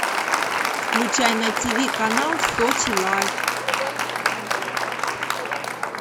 включай на тиви канал сочи лайф